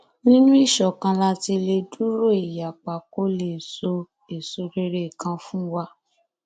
nínú ìṣọkan la ti lè dúró ìyapa kó lè sọ èèṣo rere kan fún wa